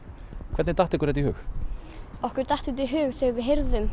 hvernig datt ykkur þetta í hug okkur datt þetta í hug þegar við heyrðum